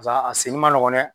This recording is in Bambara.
a senni ma nɔgɔn dɛ!